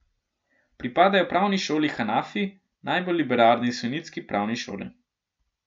Pripadajo pravni šoli Hanafi, najbolj liberalni sunitski pravni šoli.